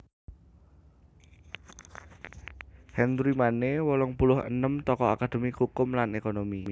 Henry Manne wolung puluh enem tokoh akadémi kukum lan ékonomi